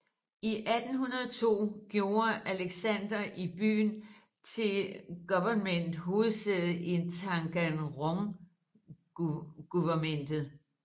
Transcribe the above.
I 1802 gjorde Alexander I byen til guvernements hovedsæde i Taganrog guvernement